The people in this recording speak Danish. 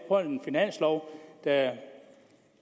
være